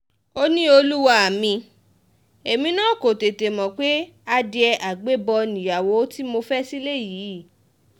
ó ní olúwa um mi èmi náà kò tètè mọ̀ pé adìẹ àgbébọ̀ nìyàwó tí um mo fẹ́ sílẹ̀ yìí